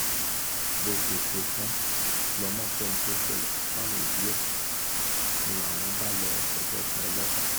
bó ṣe ṣe é tán lọmọ sọ ohun tó ṣẹlẹ̀ fáwọn òbí ẹ̀ ń láwọn bá lọ́ọ fẹjọ́ sun ọlọ́pàá